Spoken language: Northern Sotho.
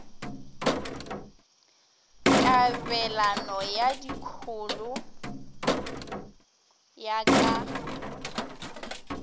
kabelano ya dikholo ya ka